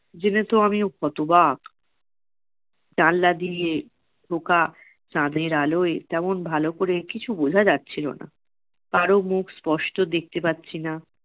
জেনে তো আমি হতবাক। জানলা দিয়ে ঢোকা চাঁদের আলোয় তেমন ভালো করে কিছু বোঝা যাচ্ছিলো না। কারও মুখ স্পষ্ট দেখতে পাচ্ছি না।